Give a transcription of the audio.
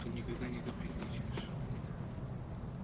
ты никогда не капризничаешь